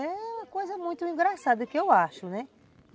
É uma coisa muito engraçada que eu acho, né?